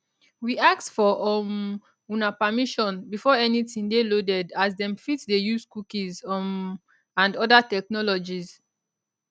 we ask for um una permission before anytin dey loaded as dem fit dey use cookies um and oda technologies